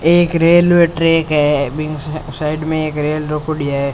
एक railway track है बिंग साइड में एक रेल रोकोडी है।